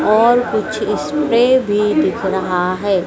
और कुछ स्प्रे भी दिख रहा है।